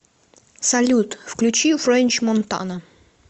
салют включи френч монтана